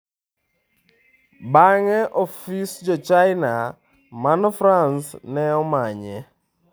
Bang'e, ofis Jo-China man France ne omanye.